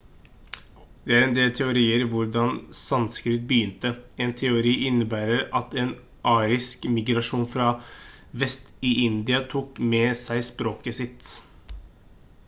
det er en del teorier rundt hvordan sanskrit begynte en teori innebærer at en arisk migrasjon fra vest i india tok med seg språket sitt